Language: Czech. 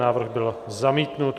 Návrh byl zamítnut.